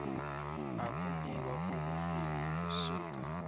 ukuliwa kobuhlwempu kusuka